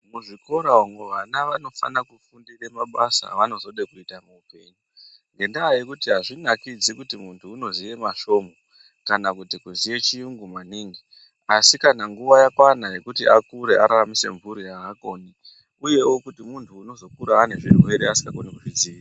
Muzvikora umwo, vana vanofane kufundire mabasa evanozoda kuita muupenyu, ngendaa yekuti azvinakidzi kuti munthu unoziya masvomhu, kana kuti kuziye chiyungu maningi, asi kana nguwa yakwana yekuti Akira araramise mphuri aakoni, uyewo kuti munthu unozokura anezvirwere asingakoni kuzvidziirira.